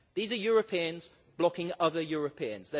These are Europeans blocking other Europeans